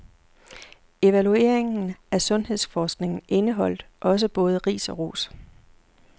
Evalueringen af sundhedsforskningen indeholdt også både ris og ros.